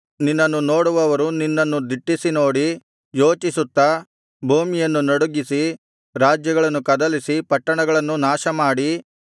ನಿನ್ನನ್ನು ನೋಡುವವರು ನಿನ್ನನ್ನು ದಿಟ್ಟಿಸಿ ನೋಡಿ ಯೋಚಿಸುತ್ತಾ ಭೂಮಿಯನ್ನು ನಡುಗಿಸಿ ರಾಜ್ಯಗಳನ್ನು ಕದಲಿಸಿ ಪಟ್ಟಣಗಳನ್ನು ನಾಶಮಾಡಿ